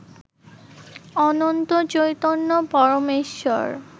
Ananta Chaitanya Parameshwar